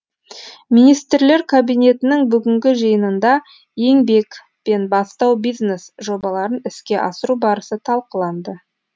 министрлер кабинетінің бүгінгі жиынында еңбек пен бастау бизнес жобаларын іске асыру барысы талқыланды